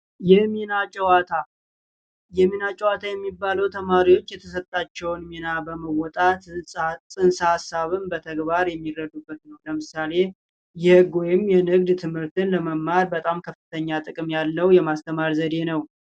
የሚና ጨዋታ የሚና ጨዋታ የሚባለው ተማሪዎች የተሰጣቸውን ሚና በመወጣት ፅንሰ ሀሳብን በተግባር የሚረዱበት ነው። ለምሳሌ የህግ ወይንም የንግድ ትምህርትን መማር ከፍተኛ ጥቅም ያለው የማስተማር ዘዴ ነው።